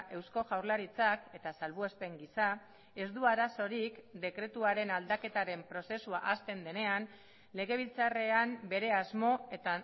eusko jaurlaritzak eta salbuespen gisa ez du arazorik dekretuaren aldaketaren prozesua hasten denean legebiltzarrean bere asmo eta